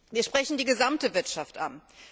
Wir sprechen die gesamte Wirtschaft an.